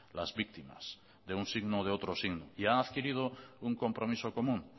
las víctimas de un signo o de otro signo y han adquirido un compromiso común